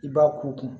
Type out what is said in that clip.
I b'a k'u kun